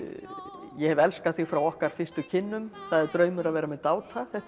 ég hef elskað þig frá okkar fyrstu kynnum það er draumur að vera með dáta þetta eru allt